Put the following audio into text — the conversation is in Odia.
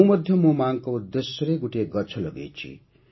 ମୁଁ ମଧ୍ୟ ମୋ ମାଆଙ୍କ ଉଦ୍ଦେଶ୍ୟରେ ଗୋଟିଏ ଗଛ ଲଗାଇଛି